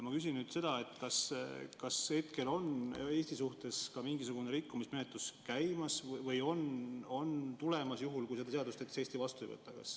Ma küsin, kas hetkel on Eesti suhtes ka mingisugune rikkumismenetlus käimas või on tulemas, juhul kui Eesti seda seadust vastu ei võta.